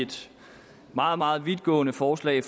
et meget meget vidtgående forslag